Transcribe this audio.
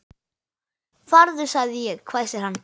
Farðu sagði ég, hvæsir hann.